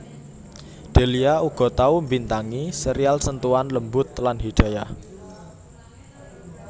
Delia uga tau mbintangi serial Sentuhan Lembut lan Hidayah